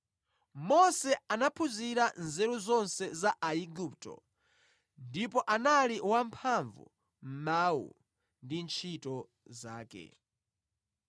Mose anaphunzira nzeru zonse za Aigupto, ndipo anali wamphamvu mʼmawu ndi ntchito zake.